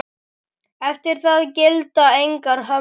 Eftir það gilda engar hömlur.